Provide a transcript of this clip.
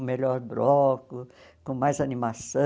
O melhor bloco, com mais animação.